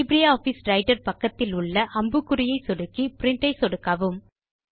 LibreOffice Writer பக்கக்திலுள்ள அம்புக்குறியை சொடுக்கி பிரின்ட் ஐ சொடுக்கவும்